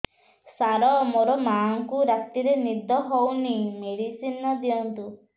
ସାର ମୋର ମାଆଙ୍କୁ ରାତିରେ ନିଦ ହଉନି ମେଡିସିନ ଦିଅନ୍ତୁ